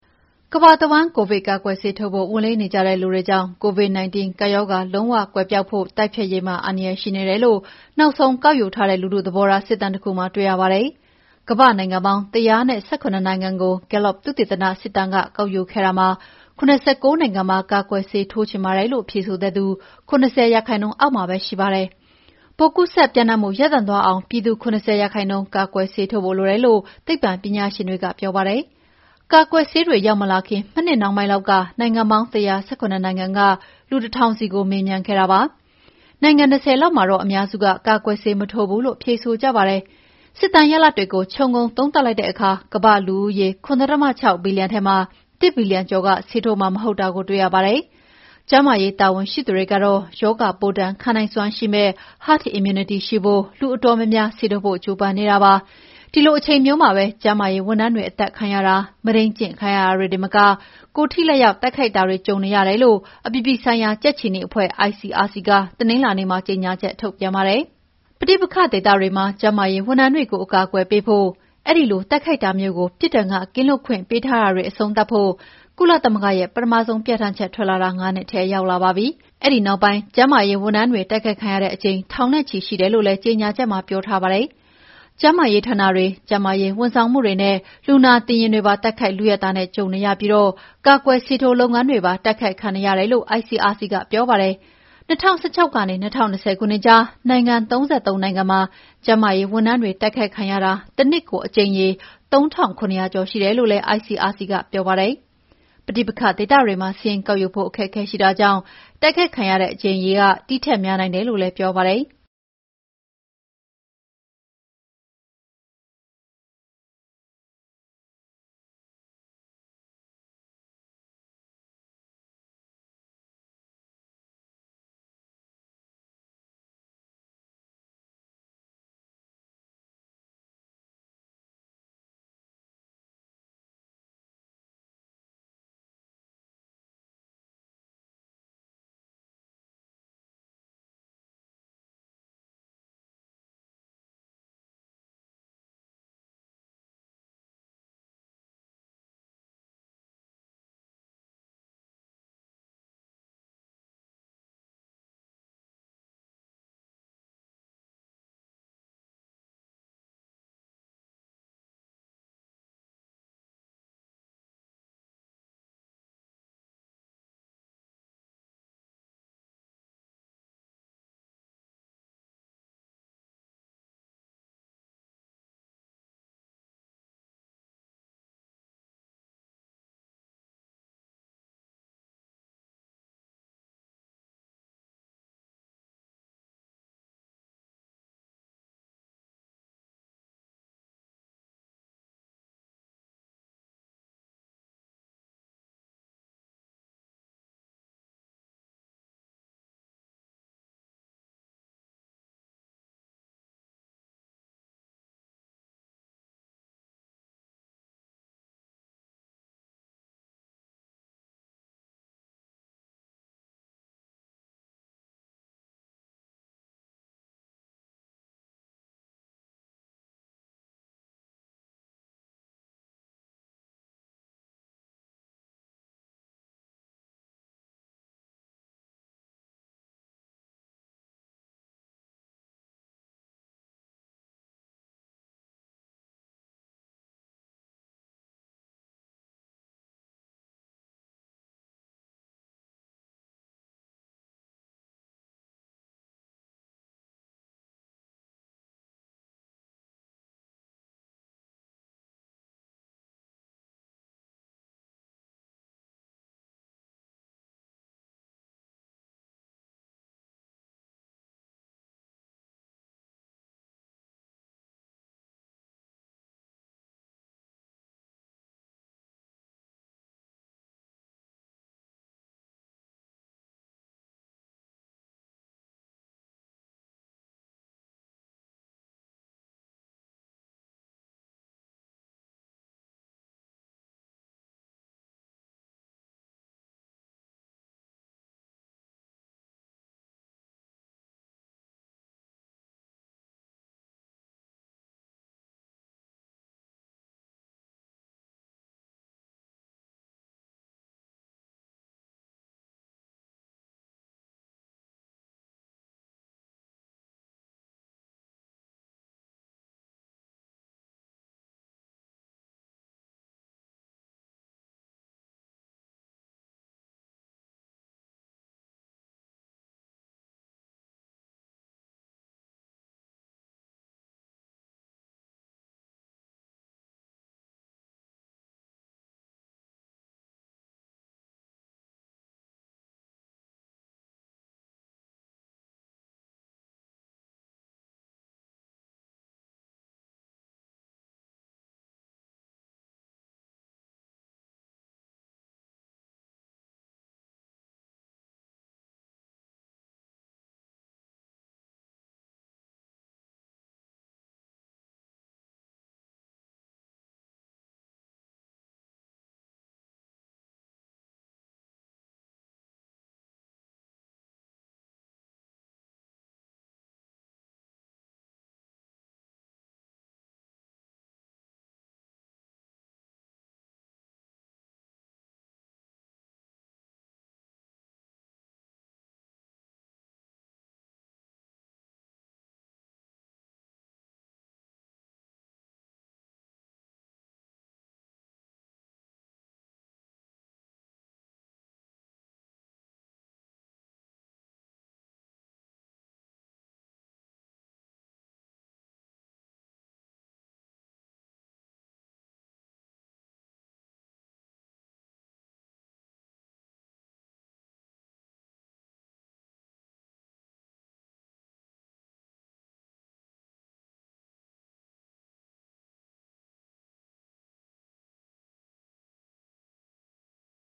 ကမ္ဘာတဝှမ်း ကိုဗစ်ကာကွယ်ဆေးထိုးဖို့ဝန်လေးနေတဲ့လူတွေကြောင့် Covid-19 ကပ်ရောဂါလုံးဝကွယ်ပျောက်ဖို့ တိုက်ဖျက်ရေးမှာ အန္တရာယ်ရှိနေတယ်လို့ နောက်ဆုံးကောက်ယူထားတဲ့လူထု သဘောထားစစ်တမ်းတခုမှာတွေ့ရပါတယ်။ ကမ္ဘာ့နိုင်ငံပေါင်း ၁၁၇ နိုင်ငံကို Gullap သုတေသန ကစစ်တမ်းကောက်ယူခဲ့တာမှာ ၇၉ နိုင်ငံမှာ ကာကွယ်ဆေးထိုးချင်ပါတယ်လို့ဖြေဆိုတဲ့သူ ၇၀% အောက်မှာပဲရှိပါတယ်။ ပိုးကူစက်ပြန့်နှံ့မှု ရပ်တန့်သွားအောင် ပြည်သူ ၇၀ % ကာကွယ်ဆေးထိုးဖို့လိုတယ်လို့သိပ္ပံပညာရှင်တွေက ပြောပါတယ်။ ကာကွယ်ဆေးတွေရောက်မလာခင် မနှစ်နှောင်းပိုင်းလောက်က နိုင်ငံပေါင်း ၁၁၇ နိုင်ငံက လူ တထောင်စီကို မေးမြန်းခဲ့တာဖြစ်ပါတယ်။ နိုင်ငံ ၂၀ လောက်မှာတော့ အများစုက ကာကွယ်ဆေးမထိုးဘူးလို့ဖြေဆိုကြပါတယ်။ စစ်တမ်းရလဒ်တွေကိုခြုံငုံသုံးသပ်လိုက်တဲ့အခါ ကမ္ဘာ့လူဦးရေ ၇.၆ ဘီလီယံထဲမှာ ၁ ဘီလီယံကျော်ကဆေးထိုးမှာမဟုတ်တာကိုတွေ့ရပါတယ်။ ကျန်းမာရေးတာဝန်ရှိသူတွေကတော့ရောဂါပိုးဒဏ်ခံနိုင်စွမ်းရှိမယ့် herd Immunity ရှိဖို့ လူအတော်များများဆေးထိုးဖို့ကြိုးပမ်းနေတာပါ။ ဒီလိုအချိန်မျိုးမှာပဲ ကျန်းမာရေးဝန်ထမ်းတွေ အသတ်ခံရတာ၊ မုဒိန်းကျင့်ခံရတာတွေတင်မက ကိုယ်ထိလက်ရောက်တိုက်ခိုက်ခံရတာတွေရှိနေတယ်လို့ အပြည်ပြည်ဆိုင်ရာကြက်ခြေနီအဖွဲ့ ICRC ကတနင်္လာနေ့မှာကြေငြာချက်ထုတ်ပြန်ပါတယ်။ ပဋိပက္ခဒေသတွေမှာကျန်းမာရေးဝန်ထမ်းတွေကို အကာအကွယ်ပေးဖို့၊ အဲဒီလိုတိုက်ခိုက်တာမျိုးကို ပြစ်ဒဏ်ကကင်းလွတ်ခွင့်ပေးထားတာတွေ အဆုံးသတ်ဖို့ ကုလသမဂ္ဂရဲ့ ပထမဆုံး ပြဌာန်းချက်ထွက်လာတာ ၅ နှစ်ထဲရောက်လာပါပြီ။ အဲဒီနောက်ပိုင်း ကျန်းမာရေးဝန်ထမ်းတွေ တိုက်ခိုက်ခံရတဲ့အကြိမ်ထောင်နဲ့ချီရှိတယ်လို့လည်း ကြေငြာချက်မှာပြောထားပါတယ်။ ကျန်းမာရေးဌာနတွေ၊ ကျန်းမာရေးဝန်ဆောင်မှုတွေနဲ့ လူနာတင်ယာဉ်တွေပါ တိုက်ခိုက် လုယက်တာနဲ့ ကြုံနေရပြီး ကာကွယ်ဆေးထိုးလုပ်ငန်းတွေပါ တိုက်ခိုက်ခံနေရတယ်လို့ ICRC ကပြောပါတယ်။ ၂၀၁၆ နေ ၂၀၂၀ ခုနှစ်ကြားနိုင်ငံ ၃၃ နိုင်ငံမှာ ကျန်းမာရေးဝန်ထမ်းတွေတိုက်ခိုက်ခံရတာ တနှစ်ကို အကြိမ်ရေ ၃ ထောင့်၇ ရာကျော်ရှိတယ်လို့ ICRC ကပြောပါတယ်။ ပဋိပက္ခဒေသတွေမှာ စာရင်းကောက်ယူဖို့အခက်အခဲရှိတာကြောင့် တိုက်ခိုက်ခံရတဲ့အကြိမ်ရေ ဒီထက်များနိုင်တယ်လို့လည်း ပြောပါတယ်။